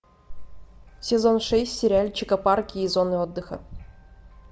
сезон шесть сериальчика парки и зоны отдыха